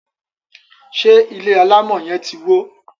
ṣe ilé alamò yen tí wọ?